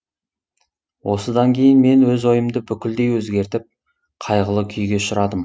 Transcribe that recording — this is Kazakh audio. осыдан кейін мен өз ойымды бүкілдей өзгертіп қайғылы күйге ұшырадым